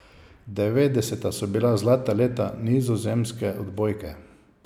Devetdeseta so bila zlata leta nizozemske odbojke.